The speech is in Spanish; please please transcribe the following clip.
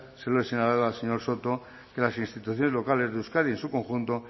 se lo he señalado al señor soto que las instituciones locales de euskadi en su conjunto